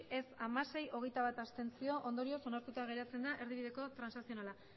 ez hamasei abstentzioak hogeita bat ondorioz onartuta geratzen da erdibideko transakzionala